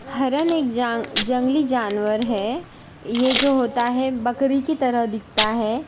हरन एक जंगली जानवर है यह जो होता है बकरी की तरह दिखता है।